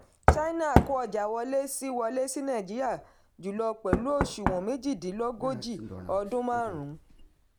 china kó ọjà wọlé sí wọlé sí nàìjíríà jùlọ pẹ̀lú òṣùwọ̀n méjìdínlógojì ọdún marun.